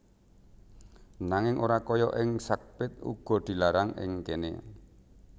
Nanging ora kaya ing Sark pit uga dilarang ing kéné